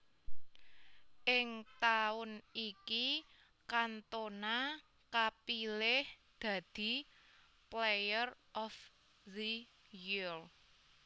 Ing taun iki Cantona kapilih dadi Player of the Year